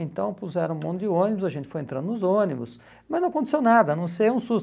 Então puseram um monte de ônibus, a gente foi entrando nos ônibus, mas não aconteceu nada, a não ser um susto.